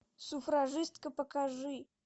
суфражистка покажи